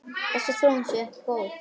Þessi þróun sé ekki góð.